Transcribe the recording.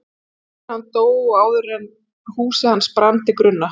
Eftir að hann dó og áður en húsið hans brann til grunna.